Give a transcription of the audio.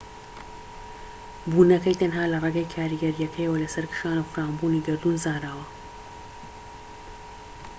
بوونەکەی تەنها لە ڕێگەی کاریگەریەکەیەوە لەسەر کشان و فراوانبوونی گەردوون زانراوە